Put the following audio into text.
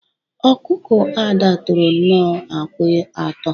Ọkụkọ Ada tọrọ nnọọ akwa atọ.